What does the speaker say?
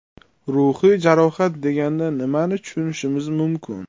Ruhiy jarohat deganda nimani tushunishimiz mumkin?